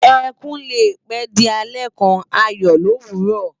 Ekún lé pè di àlè kán àyò lówúrò